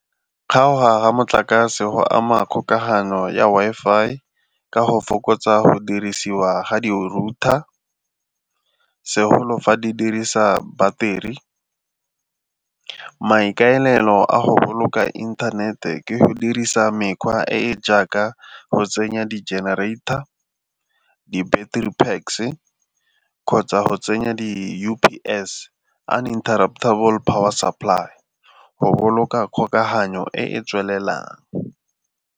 Kgaoga ga motlakase go ama kgokagano ya Wi-Fi ka go fokotsa go dirisiwa ga di-router segolo fa di dirisa battery. Maikaelelo a go boloka inthanete ke go dirisa mekgwa e e jaaka go tsenya di-generator, di-battery packs-e kgotsa go tsenya di-U_P_S uninterruptable power supply go boloka kgokaganyo e e tswelelang.